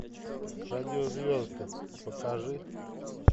радио звезды покажи